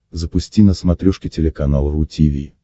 запусти на смотрешке телеканал ру ти ви